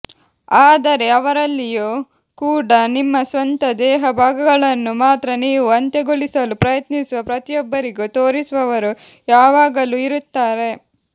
ಆದರೆ ಅವರಲ್ಲಿಯೂ ಕೂಡ ನಿಮ್ಮ ಸ್ವಂತ ದೇಹ ಭಾಗಗಳನ್ನು ಮಾತ್ರ ನೀವು ಅಂತ್ಯಗೊಳಿಸಲು ಪ್ರಯತ್ನಿಸುವ ಪ್ರತಿಯೊಬ್ಬರಿಗೂ ತೋರಿಸುವವರು ಯಾವಾಗಲೂ ಇರುತ್ತಾರೆ